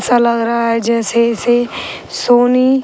सा लग रहा है जैसे इसे सोनी --